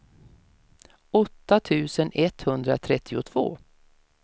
åtta tusen etthundratrettiotvå